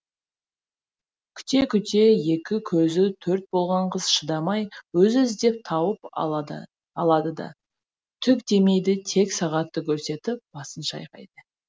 күте күте екі көзі төрт болған қыз шыдамай өзі іздеп тауып алады алады да түк демейді тек сағатты көрсетіп басын шайқайды